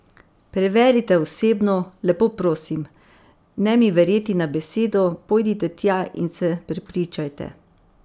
Preverite osebno, lepo prosim, ne mi verjeti na besedo, pojdite tja in se prepričajte.